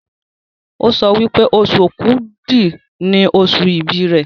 o sọ wípé Oṣù Òkúdu ní oṣù ibì rẹ.